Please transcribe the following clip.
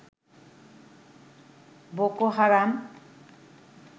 Boko Haram